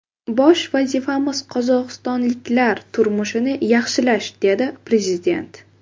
Bosh vazifamiz qozog‘istonliklar turmushini yaxshilash”, dedi prezident.